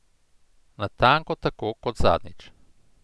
Natanko tako kot zadnjič.